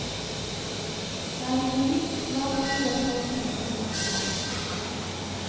Det er en hvit, svakt buet halv kilometer lang strand.